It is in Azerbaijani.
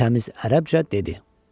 Təmiz ərəbcə dedi.